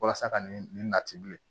Walasa ka nin latibilen